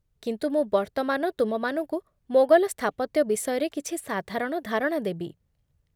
କିନ୍ତୁ ମୁଁ ବର୍ତ୍ତମାନ ତୁମମାନଙ୍କୁ ମୋଗଲ ସ୍ଥାପତ୍ୟ ବିଷୟରେ କିଛି ସାଧାରଣ ଧାରଣା ଦେବି।